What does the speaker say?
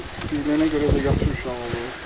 Bu deyilənə görə də yaxşı uşaq olub.